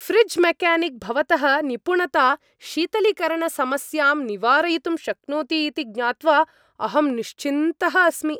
Fridge mechanic, भवतः निपुणता शीतलीकरणसमस्यां निवारयितुं शक्नोति इति ज्ञात्वा अहम् निश्चिन्तः अस्मि।